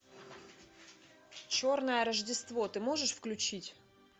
черное рождество ты можешь включить